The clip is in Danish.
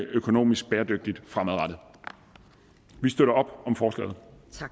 økonomisk bæredygtigt vi støtter op om forslaget